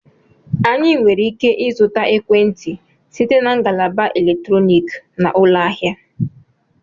Anyị nwere ike ịzụta ekwentị site na ngalaba eletrọnịkị na ụlọ ahịa